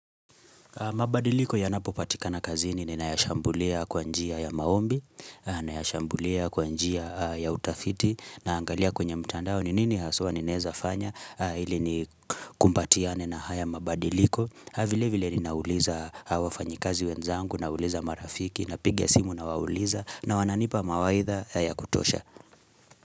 Mabadiliko ya napopatika na kazini ni nayashambulia kwa njia ya maombi, nayashambulia kwa njia ya utafiti naangalia kwenye mtandao ni nini haswa ninaweza fanya ili ni kumbatiane na haya mabadiliko. Vile vile ninauliza wafanyikazi wenzangu nauliza marafiki na piga simu nawauliza na wananipa mawaidha ya kutosha.